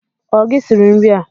O gi siri nri a?